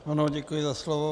Ano, děkuji za slovo.